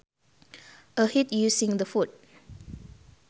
A hit using the foot